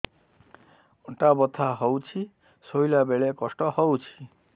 ଅଣ୍ଟା ବଥା ହଉଛି ଶୋଇଲା ବେଳେ କଷ୍ଟ ହଉଛି